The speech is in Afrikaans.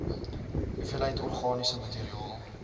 hoeveelheid organiese materiaal